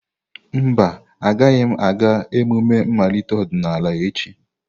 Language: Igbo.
Mba, agaghị m aga emume mmalite ọdịnala echi.